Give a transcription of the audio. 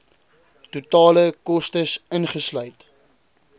totale kostes ingesluit